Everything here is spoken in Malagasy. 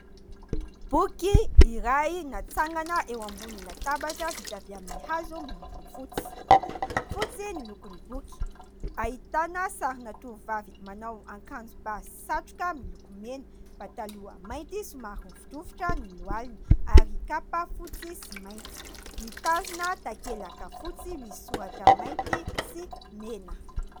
Boky iray natsangana eo ambony latabatra vita avy amin'ny hazo miloko fotsy. Fotsy ny lokon'ny boky, ahitana sarina tovovavy manao akanjo bà sy satroka miloko mena, pataloha mainty somary rovidrovitra ny lohaliny ary kapa fotsy sy mainty ; mitazona takelaka fotsy misy soratra mainty sy mena.